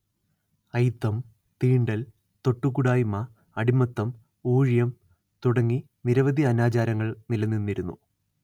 അയിത്തം തീണ്ടൽ തൊട്ടുകൂടായ്മ അടിമത്തം ഊഴിയം തുടങ്ങി നിരവധി അനാചാരങ്ങൾ നിലനിന്നിരുന്നു